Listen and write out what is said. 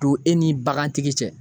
Don e ni bagantigi cɛ